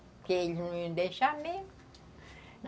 Porque eles não iam deixar mesmo.